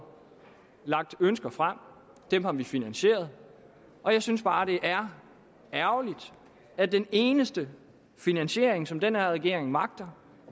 lagt ønsker frem dem har vi finansieret og jeg synes bare det er ærgerligt at den eneste finansiering som den her regering magter